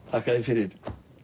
þakka þér fyrir